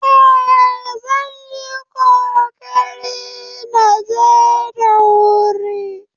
Eh, zan yi ƙoƙari na je da wuri